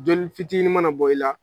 Joli fitinin mana bɔ i la.